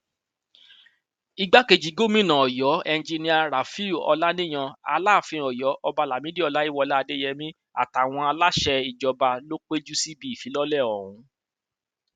igbákejì gòmìnà ọyọ enjinnnia rafiu ọlaniyan alaafin ọyọ ọba lamidi ọláyíwọlá adéyẹmi àtàwọn aláṣẹ ìjọba ló péjú síbi ìfilọlẹ ọhún